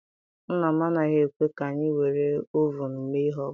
Nna m anaghị ekwe ka anyị were ovunu mee ihe ọbụla.